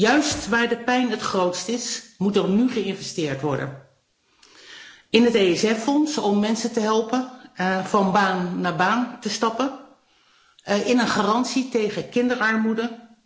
Juist waar de pijn het grootst is, moet er nu geïnvesteerd worden in het Europees Sociaal Fonds, om mensen te helpen van baan naar baan te stappen, en in een garantie tegen kinderarmoede.